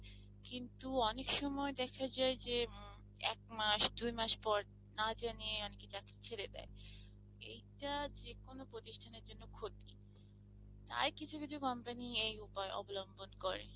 কিন্তু অনেক সময় দেখা যায় যে এক মাস দুই মাস পর না জানিয়ে অনেকে চাকরি ছেড়ে দেয়, এইটা যেকোনো প্রতিষ্ঠানের জন্য ক্ষতি তাই কিছু কিছু company এই উপায় অবলম্বন করে।